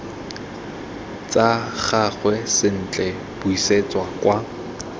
tsa gagwe sentle buisetsa kwa